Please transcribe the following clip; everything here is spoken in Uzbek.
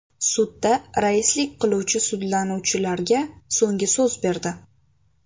Sudda raislik qiluvchi sudlanuvchilarga so‘nggi so‘z berdi.